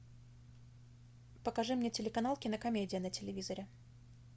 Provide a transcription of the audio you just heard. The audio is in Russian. покажи мне телеканал кинокомедия на телевизоре